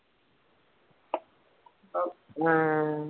ങാ